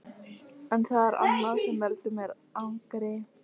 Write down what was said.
En það er annað sem veldur mér angri.